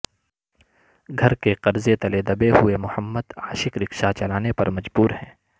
گھر کے قرضے تلے دبے ہوئے محمد عاشق رکشہ چلانے پر مجبور ہیں